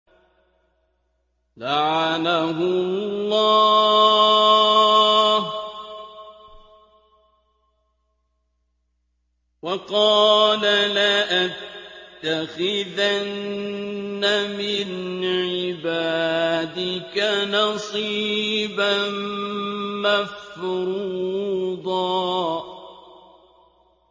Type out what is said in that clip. لَّعَنَهُ اللَّهُ ۘ وَقَالَ لَأَتَّخِذَنَّ مِنْ عِبَادِكَ نَصِيبًا مَّفْرُوضًا